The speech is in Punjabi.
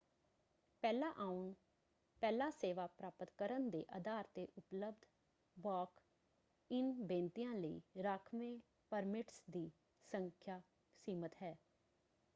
ਪਹਿਲਾਂ ਆਉਣ ਪਹਿਲਾਂ ਸੇਵਾ ਪ੍ਰਾਪਤ ਕਰਨ ਦੇ ਅਧਾਰ ‘ਤੇ ਉਪਲਬਧ ਵਾਕ-ਇਨ ਬੇਨਤੀਆਂ ਲਈ ਰਾਖਵੇਂ ਪਰਮਿਟਸ ਦੀ ਸੰਖਿਆ ਸੀਮਤ ਹੈ।